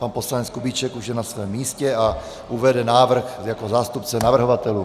Pan poslanec Kubíček už je na svém místě a uvede návrh jako zástupce navrhovatelů.